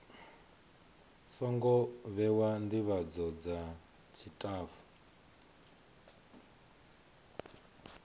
songo vhewa ndivhadzo dza tshitafu